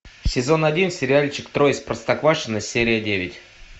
сезон один сериальчик трое из простоквашино серия девять